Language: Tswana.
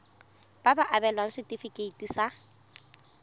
ba ka abelwa setefikeiti sa